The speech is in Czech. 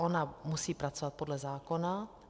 Ona musí pracovat podle zákona.